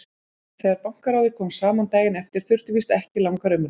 Þegar Bankaráðið kom saman daginn eftir þurfti víst ekki langar umræður.